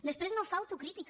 després no fa autocrítica